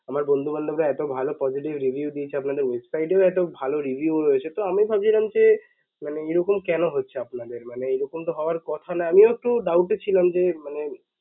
আমার বন্ধু বান্ধবরা এত ভাল positive review দিয়েছে আপনাদের website এও এত ভাল review সেহেতু আমিও ভাবছিলাম যে মানে এরকম কেন হচ্ছে আপনাদের মানে এরকম তো হওয়ার কথা না আমিও একটু doubt এ ছিলাম যে মানে